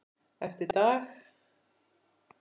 Eftir dag.